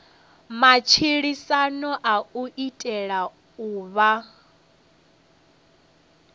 matshilisano u itela u vha